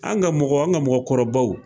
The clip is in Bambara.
An ka mɔgɔ an ka mɔgɔkɔrɔbaw.